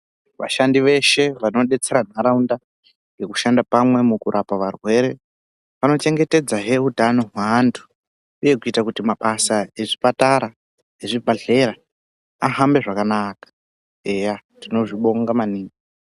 Vashandi veshe vanodetsera ntaraunda nekushanda pamwe mukurapa varwere, vanochengetedzahe hutano hweantu, uye kuita kuti mabasa ezvipatara nezvibhedhlera ahambe zvakanaka, eya tinozvibonga maningi.